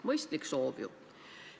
Mõistlik soov ju!